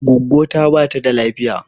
Gwaggwo ta bata da lafiya